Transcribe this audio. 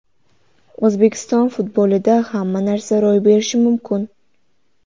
O‘zbekiston futbolida hamma narsa ro‘y berishi mumkin.